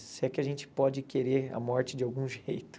Se é que a gente pode querer a morte de algum jeito.